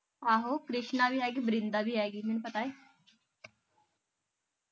ਆਹੋ ਕ੍ਰਿਸ਼ਨਾ ਵੀ ਆਏਗੀ ਬ੍ਰਿੰਦਾ ਵੀ ਆਏਗੀ ਮੈਨੂੰ ਪਤਾ ਏ